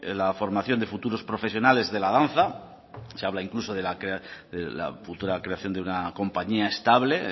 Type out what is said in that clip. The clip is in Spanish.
la formación de futuros profesionales de la danza se habla incluso de la futura creación de una compañía estable